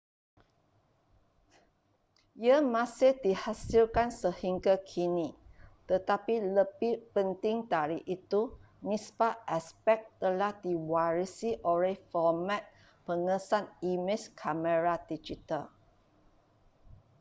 ia masih dihasilkan sehingga kini tetapi lebih penting dari itu nisbah aspek telah diwarisi oleh format pengesan imej kamera digital